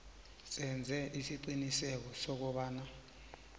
senze isiqiniseko sokobana